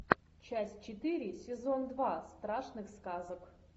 часть четыре сезон два страшных сказок